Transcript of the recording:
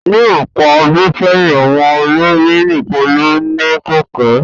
Ní ọ̀pọ̀ ọdún sẹ́yìn, àwọn ọlọ́rọ̀ nìkan ló ní kẹ̀kẹ́